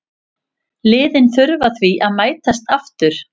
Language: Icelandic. Liðin þurfa því að mætast aftur.